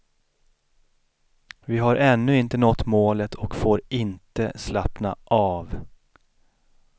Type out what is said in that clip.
Vi har ännu inte nått målet och får inte slappna av.